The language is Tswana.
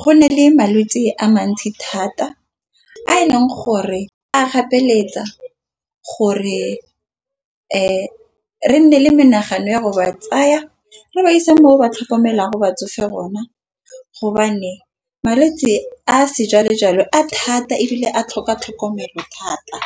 go na le malwetse a mantsi thata a e leng gore a gapeletsega gore re nne le menagano gore ba tsaya re ba ise moo ba tlhokomelwang batsofe hona. Malwetsi a sejwale-jwale a thata ebile a tlhoka tlhokomelo thata.